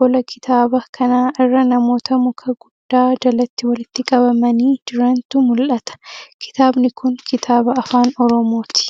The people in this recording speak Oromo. Qola kitaaba kanaa irra namoota muka guddaa jalatti walitti qabamanii jirantu mul'ata. Kitaabni kun kitaaba afaan oromooti.